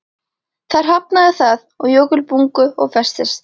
Þar hafnaði það á jökulbungu og festist.